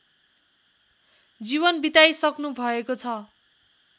जीवन बिताइसक्नुभएको छ